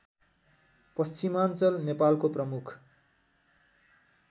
पश्चिमाञ्चल नेपालको प्रमुख